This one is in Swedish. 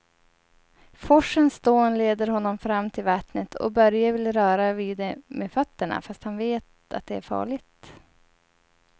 Forsens dån leder honom fram till vattnet och Börje vill röra vid det med fötterna, fast han vet att det är farligt.